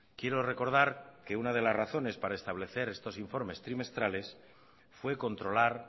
quiero recordar que una de las razones para establecer estos informes trimestrales fue controlar